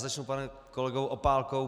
Začnu panem kolegou Opálkou.